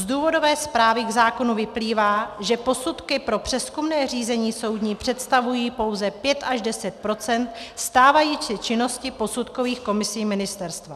Z důvodové zprávy k zákonu vyplývá, že posudky pro přezkumné řízení soudní představují pouze 5 až 10 % stávající činnosti posudkových komisí ministerstva.